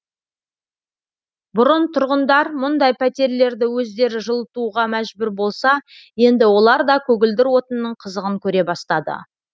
бұрын тұрғындар мұндай пәтерлерді өздері жылытуға мәжбүр болса енді олар да көгілдір отынның қызығын көре бастады